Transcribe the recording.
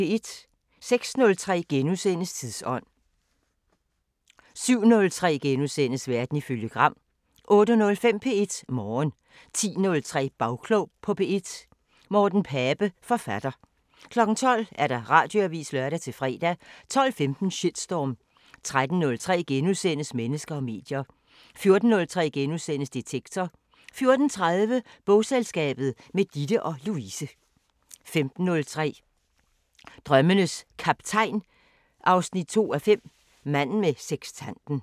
06:03: Tidsånd: * 07:03: Verden ifølge Gram * 08:05: P1 Morgen 10:03: Bagklog på P1: Morten Pape, forfatter 12:00: Radioavisen (lør-fre) 12:15: Shitstorm 13:03: Mennesker og medier * 14:03: Detektor * 14:30: Bogselskabet – med Ditte og Louise 15:03: Drømmenes Kaptajn 2:5 – Manden med sekstanten